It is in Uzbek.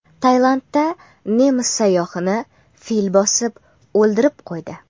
Tailandda nemis sayyohini fil bosib o‘ldirib qo‘ydi.